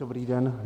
Dobrý den.